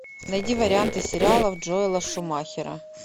найди варианты сериалов джоэла шумахера